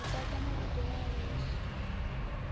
ḓo dadza muvhigo wa lufu